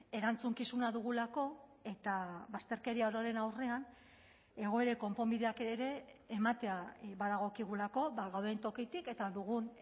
erantzukizuna dugulako eta bazterkeria ororen aurrean egoerek konponbideak ere ematea badagokigulako ba gauden tokitik eta dugun